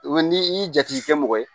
ni i y'i jatigikɛ mɔgɔ ye